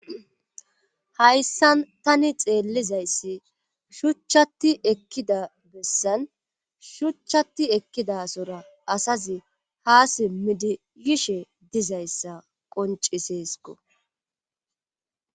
hayssan tani xeellizayssi shuchchati ekkida bessan shuchchatti ekkidasora asazi ha simmidi yishe dizayssa qonciseesko